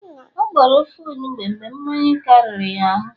ọ gboro ofe onugbu mgbe mmanya kariri ya ahu